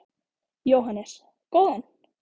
Jóhannes: Góðan?